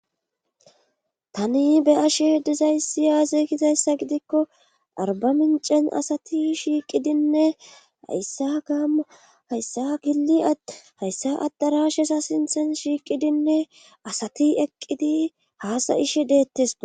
Tani beyasheh dizaysi yaazekizayssa gidikko arba mincen asati shiiqidinne hayssa gaamu hayssa gili att hayssa addarashesa sinthen shiiqidinne asati eqqidi haasayishe deetteso.